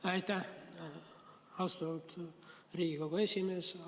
Aitäh, austatud Riigikogu esimees!